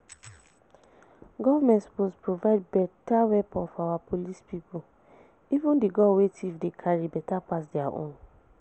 Government suppose provide better weapon for our police people, even the gun wey thief dey carry better pass dia own